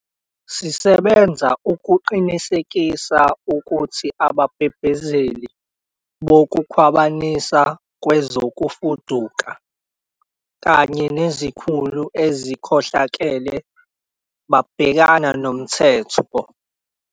Sisebenza ukuqinisekisa ukuthi ababhebhezeli bokukhwabanisa kwezokufuduka bekanye nezikhulu ezikhohlakele babhekana nomthetho.